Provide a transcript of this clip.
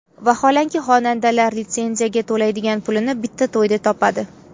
Vaholanki, xonandalar litsenziyaga to‘laydigan pulini bitta to‘yda topadi.